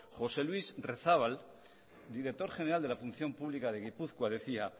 josé luis rezabal director general de la función pública de gipuzkoa decía